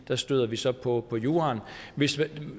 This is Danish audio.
der støder vi så på juraen og hvis